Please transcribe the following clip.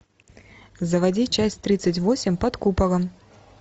заводи часть тридцать восемь под куполом